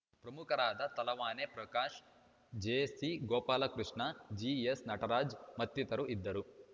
ಪ್ರಮುಖರಾದ ತಲವಾನೆ ಪ್ರಕಾಶ್‌ ಜಿಸಿಗೋಪಾಲಕೃಷ್ಣ ಜಿಎಸ್‌ನಟರಾಜ್‌ ಮತ್ತಿತರರು ಇದ್ದರು